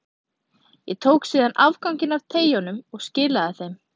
Ég tók síðan afganginn af treyjunum og skilaði þeim.